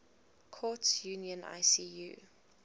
courts union icu